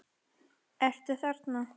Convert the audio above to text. Ertu þarna?